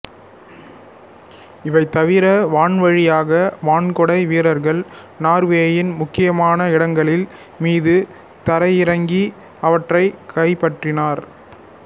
இவை தவிர வான்வழியாக வான்குடை வீரர்கள் நார்வேயின் முக்கியமான இடங்களின் மீது தரையிறங்கி அவற்றைக் கைப்பற்றினர்